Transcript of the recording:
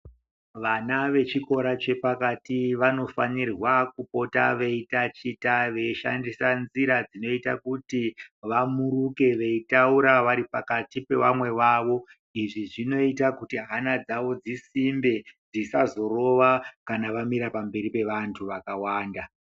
Vana vechikora chepakati vanofanirwa kupota veitatichwa veshandisa nzira dzinoita kuti vamuruke veitaura vari pakati pevamwe vavo. Izvi zvinoita kuti hana dzavo dzisimbe dzisazorova kana vamira pamberi pevantu vakawanda.